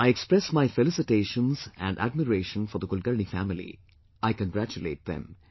I express my felicitations and admiration for the Kulkarni family, I congratulate them